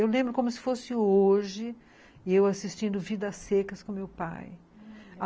Eu lembro como se fosse hoje eu assistindo Vidas Secas com meu pai.